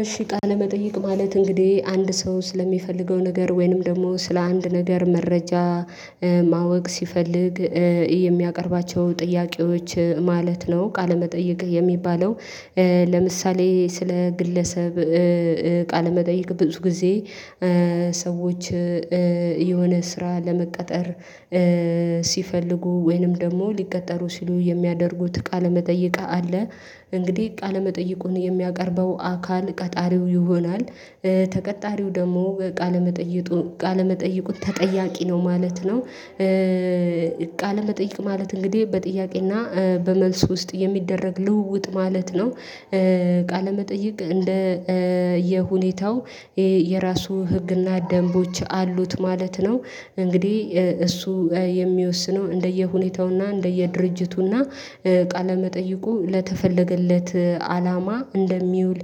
እሺ ቃለመጠይቅ ማለት እንግዲህ አንድ ሰው ስለሚፈልገው ነገር ወይንም ደግሞ ስለ አንድ ነገር መረጃ ማወቅ ሲፈልግ የሚያቀርባቸው ጥያቄዎች ማለት ነው ቃለመጠየቅ የሚባለው። ለምሳሌ ስለ ግለሰብ ቃለመጠየቅ ብዙ ጊዜ ሰዎች የሆነ ስራ ለመቀጠር ሲፈልጉ ወይንም ደግሞ ሊቀጠሩ ሲሉ የሚያደርጉት ቃለመጠየቅ አለ። እንግዲህ ቃለመጠየቁን የሚያቀርበው አካል ቀጣሪው ይሆናል ተቀጣሪው ደግሞ ቃለመጠየቁ ቃለመጠየቁን ተጠያቂ ነው ማለት ነው። ቃል መጠይቅ ማለት እንግዲህ በጥያቄና በመልስ ውስጥ የሚደረግ ልውውጥ ማለት ነው። ቃለመጠይቅ እንደ የሁኔታው የራሱ ህግና ደንቦች አሉት ማለት ነው። እንግዲህ እሱ የሚወስነው እንደየሁኔታውና እንደየድርጅቱና ቃለ መጠይቁ ለተፈለገለት አላማ እንደሚውል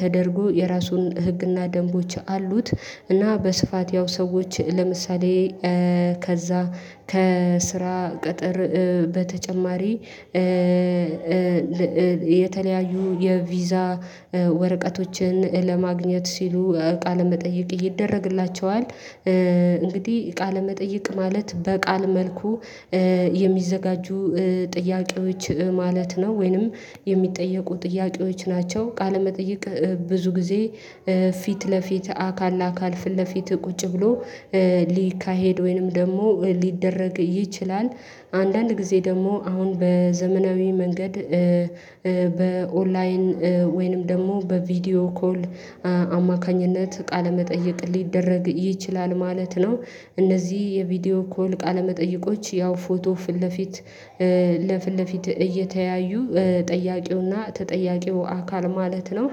ተደርጎ የራሱን ህግና ደንቦች አሉት። እና በስፋት ያው ሰዎች ለምሳሌ ከዛ ከስራ ቅጥር በተጨማሪ የተለያዩ የቪዛ ወረቀቶችን ለማግኘት ሲሉ ቃለ መጠየቅ ይደረግላቸዋል። እንግዲህ ቃለመጠየቅ ማለት በቃል መልኩ የሚዘጋጁ ጥያቄዎች ማለት ነው ወይንም የሚጠየቁ ጥያቄዎች ናቸው። ቃለመጠቅይ ብዙ ጊዜ ፊት ለፊት አካል ለአካል ፊት ለፊት ቁጭ ብሎ ሊካሄድ ወይንም ደግሞ ሊደረግ ይችላል። አንዳንድ ጊዜ ደግሞ አሁን በዘመናዊ መንገድ በኦንላይን ወይንም ደግሞ በቪዲዮ ኮል አማካኝነት ቃለመጠይቅ ሊደረግ ይችላል ማለት ነው። እነዚህ የቪዲዮ ኮል ቃለመጠየቆች ያው ፎቶ ፊት ለፊት ለፊት ለፊት እየተያዩ ጠያቂውና ተጠያቂው አካል ማለት ነው።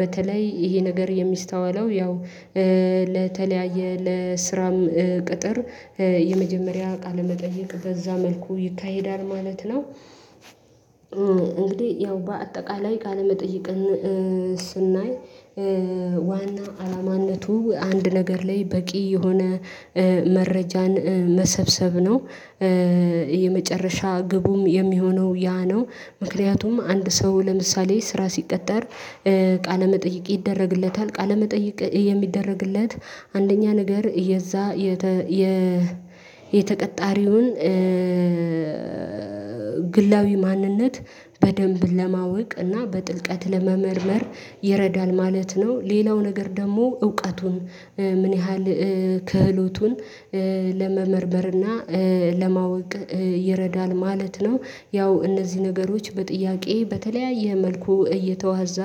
በተለይ ይሄ ነገር የሚስተዋለው ያው ለተለያየ ለስራም ቅጥር የመጀመሪያ ቃለመጠይቅ በዛ መልኩ ይካሄዳል ማለት ነው። እንግዲህ ያው በአጠቃላይ ቃለ መጠይቅን ስናይ ዋና አላማነቱ አንድ ነገር ላይ በቂ የሆነ መረጃን መሰብሰብ ነው። የመጨረሻ ግቡም የሚሆነው ያ ነው። ምክንያቱም አንድ ሰው ለምሳሌ ስራ ሲቀጠር ቃለ መጠይቅ ይደረግለታል ቃለ መጠይቅ የሚደረግለት አንደኛ ነገር የዛ የተ የተቀጣሪውን ግላዊ ማንነት በደንብ ለማወቅ እና በጥልቀት ለመመርመር ይረዳል ማለት ነው። ሌላው ነገር ደግሞ እውቀቱን ምን ያህል ክህሎቱን ለመመርመር እና ለማወቅ ይረዳል ማለት ነው። ያው እነዚህ ነገሮች በጥያቄ በተለያየ መልኩ እየተዋዛ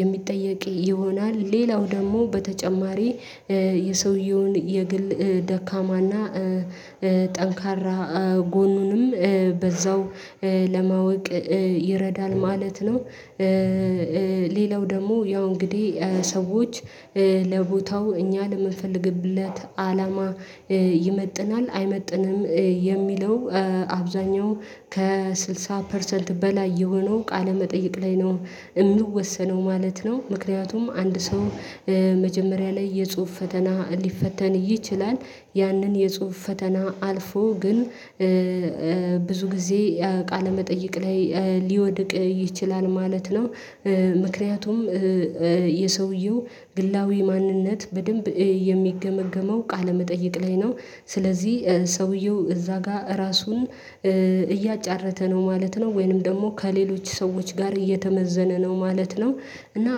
የሚጠየቅ ይሆናል። ሌላው ደግሞ በተጨማሪ የሰውየውን የግል ደካማና ጠንካራ ጎኑንም በዛው ለማወቅ ይረዳል ማለት ነው። ሌላው ደግሞ ያው እንግዲህ ሰዎች ለቦታው እኛ ለምንፈለግለት አላማ ይመጥናል አይመጥንም የሚለው አብዛኛው ከስልሳ ፐርሰንት በላይ የሆነው ቃለ መጠይቅ ላይ ነው የምወሰነው ማለት ነው። ምክንያቱም አንድ ሰው መጀመሪያ ላይ የጽሁፍ ፈተና ሊፈተን ይችላል ያንን የጽሁፍ ፈተና አልፎ ግን ብዙ ጊዜ ቃለመጠይቅ ላይ ሊወድቅ ይችላል ማለት ነው። ምክንያቱም የሰውየው ግላዊ ማንነት በደንብ የሚገመገመው ቃለመጠይቅ ላይ ነው። ስለዚህ ሰውየው እዛ ጋር ራሱን እያጫረተ ነው ማለት ነው ወይንም ደግሞ ከሌሎች ሰዎች ጋር እየተመዘነ ነው ማለት ነው። እና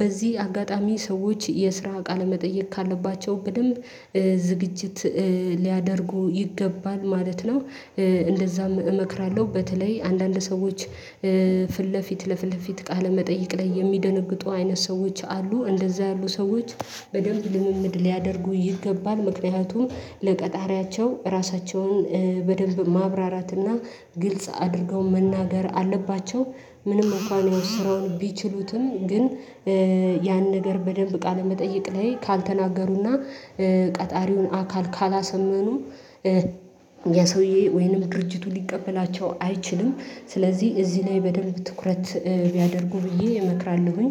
በዚህ አጋጣሚ ሰዎች የስራ ቃለመጠይቅ ካለባቸው በደንብ ዝግጅት ሊያደርጉ ይገባል ማለት ነው። እንደዛም እመክራለሁ በተለይ አንዳንድ ሰዎች ፊት ለፊት ለፊት ቃለ መጠይቅ ላይ የሚደነግጡ አይነት ሰዎች አሉ። እንደዛ ያሉ ሰዎች በደንብ ልምምድ ሊያደርጉ ይገባል ምክንያቱም ለቀጣሪያቸው ራሳቸውን በደንብ ማብራራት እና ግልጽ አድርገው መናገር አለባቸው። ምንም እንኳን ስራውን ቢችሉትም ግን ያን ነገር በደንብ ቃለ መጠይቅ ላይ ካልተናገሩና ቀጣሪውን አካል ካላሰመኑ የሰውዬ ወይንም ድርጅቱ ሊቀበላቸው አይችልም። ስለዚህ እዚህ ላይ በደንብ ትኩረት ቢያደርጉ ብዬ እመክራለሁኝ